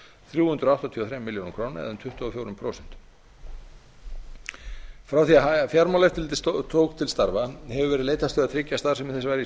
þrjú hundruð áttatíu og þrjár milljónir króna eða um tuttugu og fjögur prósent frá því að fjármálaeftirlitið tók til starfa hefur verið leitast við að tryggja starfsemi þess